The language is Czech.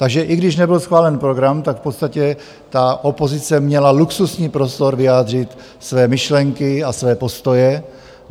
Takže i když nebyl schválen program, tak v podstatě ta opozice měla luxusní prostor vyjádřit své myšlenky a své postoje.